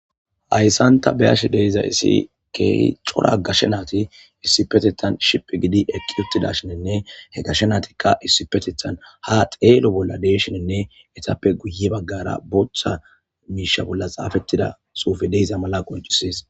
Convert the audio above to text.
Hayssanta beyashe deiza issi kee cora gashe naati issipetethan shiph gidi eqqi ottida shininne he gashe naatikka issipetethan ha xeelo bolla deshinenne etappe guye baggara booththa miisha bolla xaafettida suufe deiza mala qoncisis.